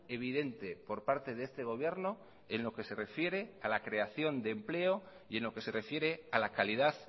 evidente por parte de este gobierno en lo que se refiere a la creación de empleo y en lo que se refiere a la calidad